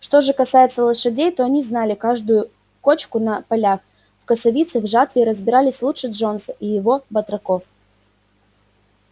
что же касается лошадей то они знали каждую кочку на полях в косовице и жатве разбирались лучше джонса и его батраков